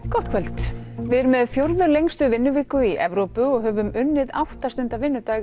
gott kvöld við erum með fjórðu lengstu vinnuviku í Evrópu og höfum unnið átta stunda vinnudag